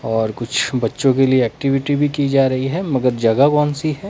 और कुछ बच्चों के लिए एक्टिविटी भी की जा रही है मगर जगह कौन सी है।